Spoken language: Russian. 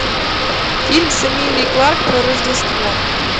фильм с эмилией кларк про рождество